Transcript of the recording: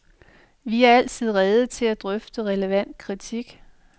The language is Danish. Vi er altid rede til at drøfte relevant kritik.